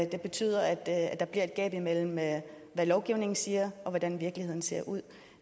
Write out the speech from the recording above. det betyder at at der bliver et gab imellem hvad lovgivningen siger og hvordan virkeligheden ser ud